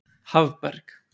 Hafberg